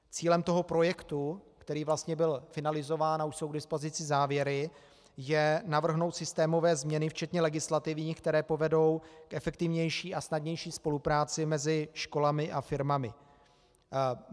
Cílem toho projektu, který vlastně byl finalizován, a už jsou k dispozici závěry, je navrhnout systémové změny včetně legislativních, které povedou k efektivnější a snadnější spolupráci mezi školami a firmami.